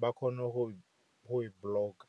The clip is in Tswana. ba kgone go e block-a